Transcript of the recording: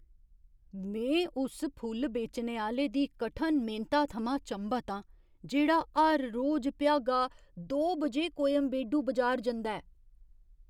में उस फुल्ल बेचने आह्‌ले दी कठन मेह्नता थमां चंभत आं जेह्ड़ा हर रोज भ्यागा दो बजे कोयंबेडू बजार जंदा ऐ।